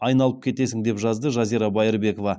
айналып кетесің деп жазды жазира байырбекова